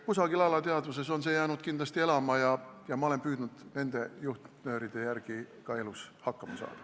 Kusagile alateadvusesse on see jäänud kindlasti alles ja ma olen püüdnud nende juhtnööride järgi elus hakkama saada.